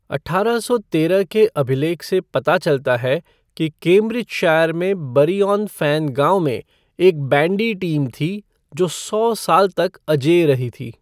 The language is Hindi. अठारह सौ तेरह के अभिलेख से पता चलता है कि कैम्ब्रिजशायर में बरी ऑन फ़ेन गांव में एक बैंडी टीम थी जो सौ साल तक अजेय रही थी।